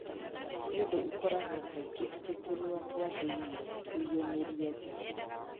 Nĩ ũndũ ũkoragwo kaingĩ atĩ tũnua twa thĩinĩ kũĩyumĩria nja.